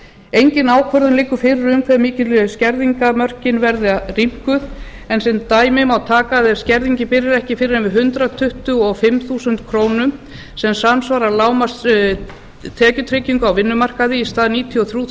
engin ákvörðun liggur fyrir um hve mikið skerðingarmörkin verða rýmkuð en sem dæmi má taka að ef skerðingin byrjar ekki fyrr en við hundrað tuttugu og fimm þúsund krónur sem samsvarar lágmarks tekjutryggingu á vinnumarkaði í stað níutíu og þrjú